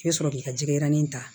I bɛ sɔrɔ k'i ka jɛgɛinin ta